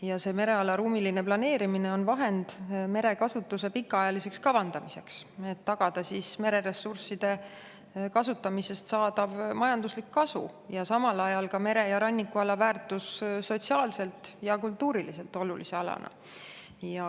Ja see mereala ruumiline planeerimine on vahend merekasutuse pikaajaliseks kavandamiseks, et tagada mereressursside kasutamisest saadav majanduslik kasu ja samal ajal ka mere‑ ja rannikuala väärtus sotsiaalselt ja kultuuriliselt olulise alana.